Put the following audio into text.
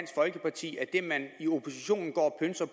folkeparti at det man i oppositionen